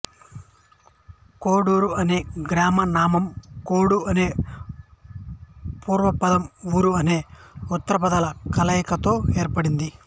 కోడూరు అనే గ్రామనామం కోడు అనే పూర్వపదం ఊరు అనే ఉత్తరపదాల కలయికతో ఏర్పడింది